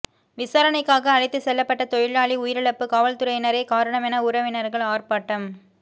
விசாரணைக்காக அழைத்துச் செல்லப்பட்ட தொழிலாளி உயிரிழப்பு காவல்துறையினரே காரணம் என உறவினர்கள் ஆர்ப்பாட்டம்